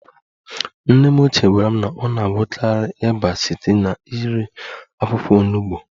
Nne m ochie gwara m na ọ na-agwọkarị ịba site n'iri akwụkwọ Onugbo